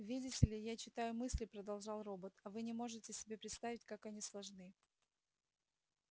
видите ли я читаю мысли продолжал робот а вы не можете себе представить как они сложны